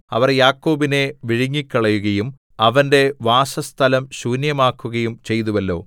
അവർ യാക്കോബിനെ വിഴുങ്ങിക്കളയുകയും അവന്റെ വാസസ്ഥലം ശൂന്യമാക്കുകയും ചെയ്തുവല്ലോ